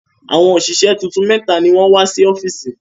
Àwọn òṣìṣẹ́ tuntun mẹ́ta ni wọ́n wá sí ọ́fíìsì.